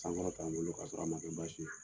Sankɔrɔta n bolo kasɔrɔ a man kɛ baasi ye.